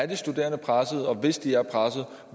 de studerende er pressede og hvis de er pressede